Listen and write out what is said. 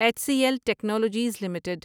H C L technologies limited